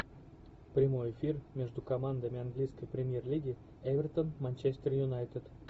прямой эфир между командами английской премьер лиги эвертон манчестер юнайтед